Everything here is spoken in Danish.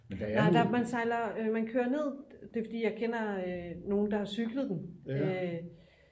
man sejler man kører ned det er fordi jeg kender nogen der har cyklet den